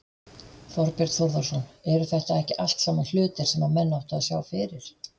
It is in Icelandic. Þorbjörn Þórðarson: Eru þetta ekki allt saman hlutir sem menn áttu að sjá fyrir?